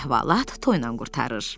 Əhvalat toyla qurtarır.